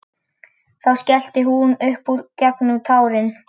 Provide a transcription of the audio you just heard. Þá skellti hún upp úr gegnum tárin.